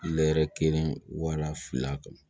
kelen wara fila kan